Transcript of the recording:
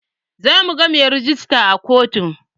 Zamu ga mai rejista a kotun